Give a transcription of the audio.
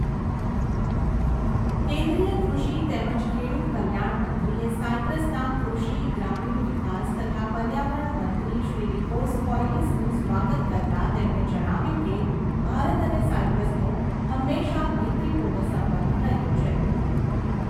કેન્દ્રીય કૃષિ તેમજ ખેડૂત કલ્યાણ મંત્રીએ સાઈપ્રસના કૃષિ, ગ્રામીણ વિકાસ તથા પર્યાવરણ મંત્રી શ્રી નિકોસ કૌયલિસનું સ્વાગત કરતા તેમણે જણાવ્યુંં કે ભારત અને સાઈપ્રસનો હંમેશાં મૈત્રીપૂર્ણ સંબંધ રહ્યો છે.